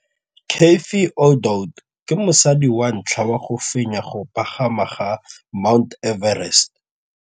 Cathy Odowd ke mosadi wa ntlha wa go fenya go pagama ga Mt Everest.